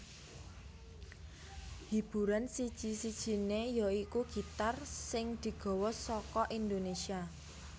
Hiburan siji sijinè ya iku gitar sing digawa saka Indonesia